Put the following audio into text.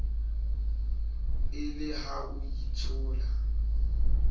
e le ha o itshola